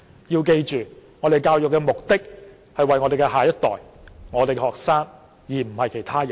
要記住，教育的目的是為了我們的下一代，我們的學生，而不是其他人。